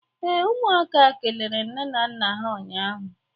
ee, umuaka kelere nne na nna ha ụnyahụ